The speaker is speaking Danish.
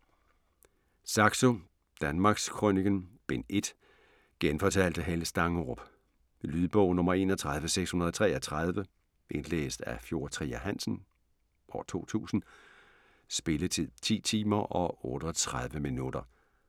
Saxo: Danmarkskrøniken: Bind 1 Genfortalt af Helle Stangerup. Lydbog 31633 Indlæst af Fjord Trier Hansen, 2000. Spilletid: 10 timer, 38 minutter.